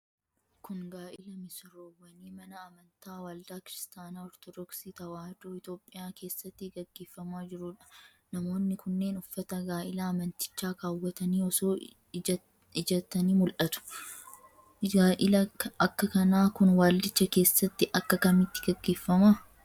Kun, gaa'ila misirroowwanii mana amantaa Waldaa Kiristaanaa Ortodooksii Tawaahidoo Itoophiyaa keessatti gaggeeffamaa jiruu dha. Namoonni kunneen, uffata gaa'ilaa amantichaa kaawwatanii osoo ijjatanii mul'atu. Gaa'illi akka kanaa kun waldicha keessatti akka kamitti gaggeeffama?